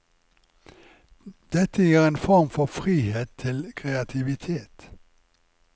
Dette gir en form for frihet til kreativitet.